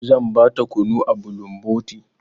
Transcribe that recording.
Zan ba ta kunu a bulumboti.